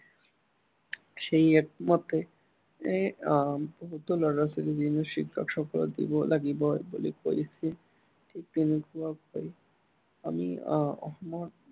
সেই act মতে এৰ আহ বহুতো ল'ৰা-ছোৱালী বিনামূলীয়া শিক্ষা দিব লাগিব বুলি কৈছে। ঠিক তেনেকুৱাকৈ আমি আহ অসমত